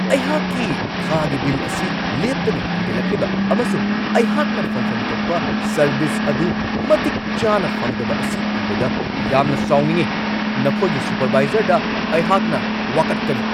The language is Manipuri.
ꯑꯩꯍꯥꯛꯀꯤ ꯊꯥꯒꯤ ꯕꯤꯜ ꯑꯁꯤ ꯂꯦꯞꯇꯅ ꯍꯦꯟꯒꯠꯂꯛꯂꯤꯕ ꯑꯃꯁꯨꯡ ꯑꯩꯍꯥꯛꯅ ꯐꯪꯐꯝ ꯊꯣꯛꯄ ꯁꯔꯕꯤꯁ ꯑꯗꯨ ꯃꯇꯤꯛ ꯆꯥꯅ ꯐꯪꯗꯕ ꯑꯁꯤ ꯎꯕꯗ ꯌꯥꯝꯅ ꯁꯥꯎꯅꯤꯡꯉꯤ ꯫ ꯅꯈꯣꯏꯒꯤ ꯁꯨꯄꯔꯕꯥꯏꯖꯔꯗ ꯑꯩꯍꯥꯛꯅ ꯋꯥꯀꯠꯀꯅꯤ ꯫